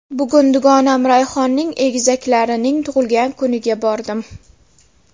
Bugun dugonam Rayhonning egizaklarining tug‘ilgan kuniga bordim.